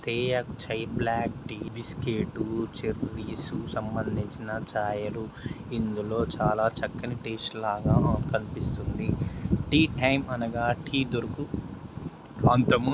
తేయాకు చై black tea biscuit చీరియస్ సంబందించిన ఛాయలు ఇందులో చాలా చక్కని టేస్ట్ లాగా కనిపిస్తుంది. టీ టైం అనగా టీ దొరుకు ప్రాంతము --